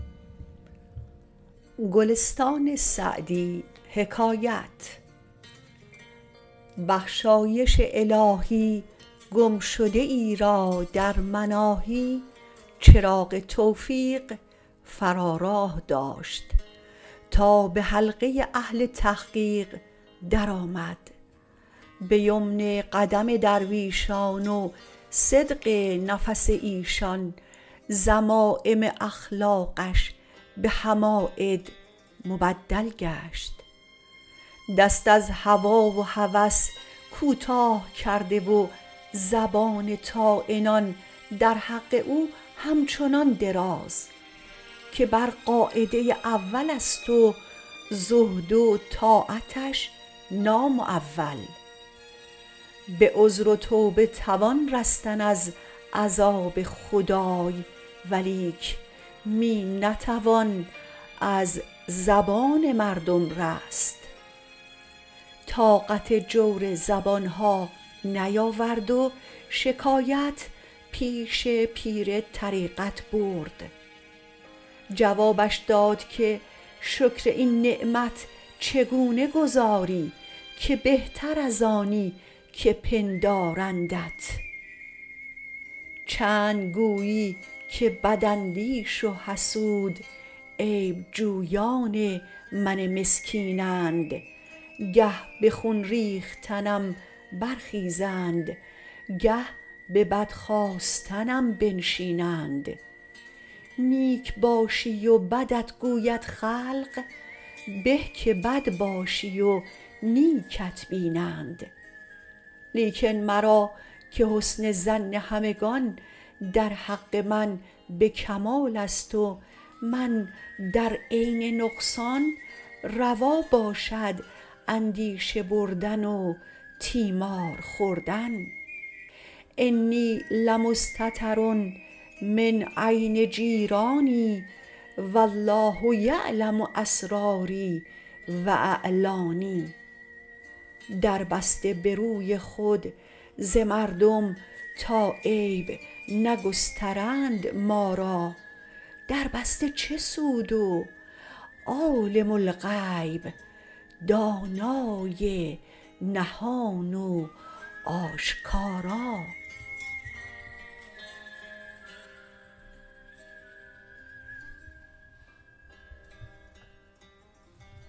بخشایش الهی گم شده ای را در مناهی چراغ توفیق فرا راه داشت تا به حلقه اهل تحقیق در آمد به یمن قدم درویشان و صدق نفس ایشان ذمایم اخلاقش به حماید مبدل گشت دست از هوا و هوس کوتاه کرده و زبان طاعنان در حق او همچنان دراز که بر قاعده اول است و زهد و طاعتش نامعول به عذر و توبه توان رستن از عذاب خدای ولیک می نتوان از زبان مردم رست طاقت جور زبان ها نیاورد و شکایت پیش پیر طریقت برد جوابش داد که شکر این نعمت چگونه گزاری که بهتر از آنی که پندارندت چند گویی که بد اندیش و حسود عیب جویان من مسکینند گه به خون ریختنم برخیزند گه به بد خواستنم بنشینند نیک باشی و بدت گوید خلق به که بد باشی و نیکت بینند لیکن مرا -که حسن ظن همگنان در حق من به کمال است و من در عین نقصان روا باشد اندیشه بردن و تیمار خوردن انی لمستتر من عین جیرانی و الله یعلم أسراري و أعلاني در بسته به روی خود ز مردم تا عیب نگسترند ما را در بسته چه سود و عالم الغیب دانای نهان و آشکارا